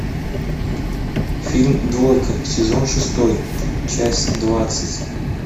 фильм двойка сезон шестой часть двадцать